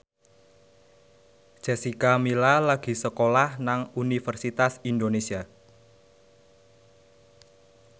Jessica Milla lagi sekolah nang Universitas Indonesia